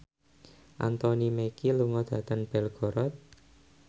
Anthony Mackie lunga dhateng Belgorod